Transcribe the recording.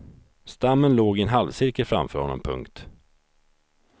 Stammen låg i en halvcirkel framför honom. punkt